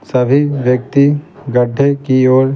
सभी व्यक्ति गड्ढे की ओर--